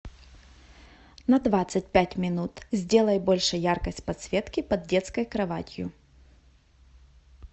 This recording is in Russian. на двадцать пять минут сделай больше яркость подсветки под детской кроватью